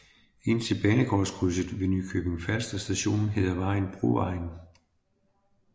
Indtil banegårdskrydset ved Nykøbing F Station hedder vejen Brovejen